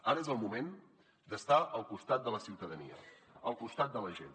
ara és el moment d’estar al costat de la ciutadania al costat de la gent